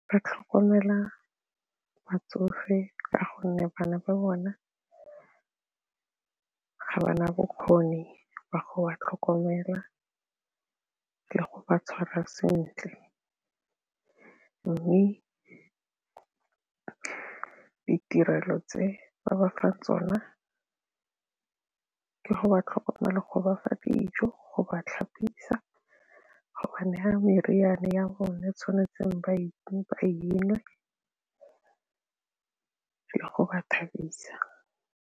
Ba tlhokomela batsofe ka gonne bana ba bone ga ba na bokgoni jwa go ba tlhokomela le go ba tshwarwa sentle mme ditirelo tse ba bafa tsona ko ba tlhokomele go bafa dijo go bathapisiwa go naya meriane ya bone tshwanetseng ba palelwe le go ba thabisa.